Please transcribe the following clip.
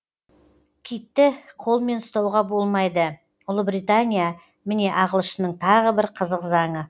китті қолмен ұстауға болмайды ұлыбритания міне ағылшынның тағы бір қызық заңы